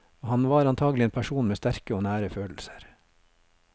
Han var antagelig en person med sterke og nære følelser.